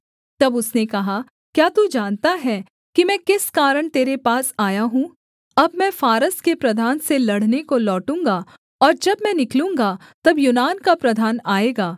तब उसने कहा क्या तू जानता है कि मैं किस कारण तेरे पास आया हूँ अब मैं फारस के प्रधान से लड़ने को लौटूँगा और जब मैं निकलूँगा तब यूनान का प्रधान आएगा